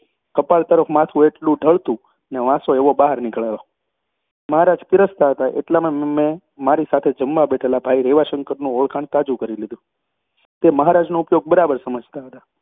કપાળ તરફ માથું એટલું ઢળતું અને વાંસો એવો બહાર નીકળેલો હતો. મહારાજ પીરસતા હતા એટલામાં મેં મારી સાથે જમવા બેઠેલા ભાઈ રેવાશંકરનું ઓળખાણ તાજું કરી લીધું. તે મહારાજનો ઉપયોગ બરાબર સમજતા હતા